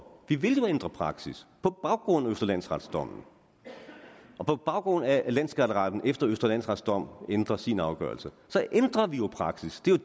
vi vil jo ændre praksis på baggrund af østre landsretsdommen og på baggrund af at landsskatteretten efter østre landsrets dom ændrer sin afgørelse så ændrer vi jo praksis det er